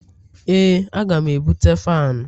Ee aga m ebute fanu